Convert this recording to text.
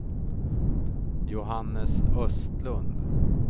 Johannes Östlund